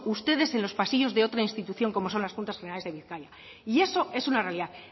ustedes en los pasillos de otra institución como son las juntas generales de bizkaia y eso es una realidad